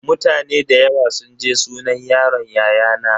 Mutane da yawa sun je sunan yaron yayana.